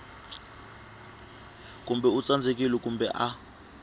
kumbe u tsandzekile kumbe a